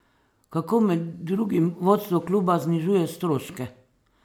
Kako med drugim vodstvo kluba znižuje stroške?